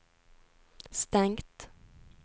stengt